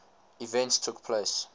events took place